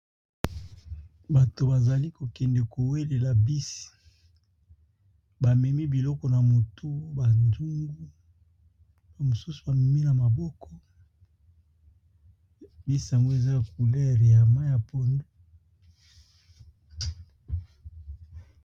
Bato bazali kokende kowelela bisi bamemi biloko na motu badungu bamosusu bamemi na maboko bi sango eza couler ya mai ya pondo.